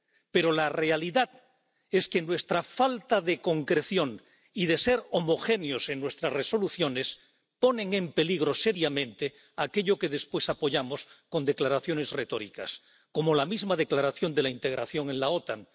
Pero la realidad es que nuestra falta de concreción y de ser homogéneos en nuestras resoluciones ponen en peligro seriamente aquello que después apoyamos con declaraciones retóricas, como la misma declaración de la integración en la OTAN.